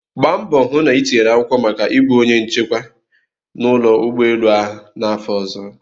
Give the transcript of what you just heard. Gbaa mbọ hụ na itinyere akwụkwọ maka ịbụ onye nchekwa n'ụlọ ụgbọelu ahụ n'afọ ọzọ!